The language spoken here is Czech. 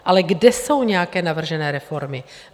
Ale kde jsou nějaké navržené reformy?